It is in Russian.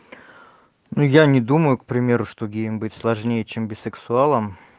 ну я не думаю к примеру что геем быть сложнее чем бисексуалом